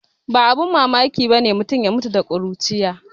Ba abin mamaki bane mutu ya mutum da kuruciya